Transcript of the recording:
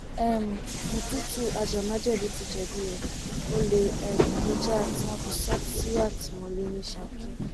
um mututu ajàmájẹbí ti jẹbi o ọlẹ um ló jà tí wọn fi sọ ọ sí àtìmọlé ní saki